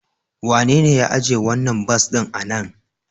Wanene ya ajiye wannan bas ɗin a nan?